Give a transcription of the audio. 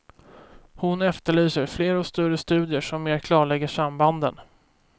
Hon efterlyser fler och större studier som mer klarlägger sambanden.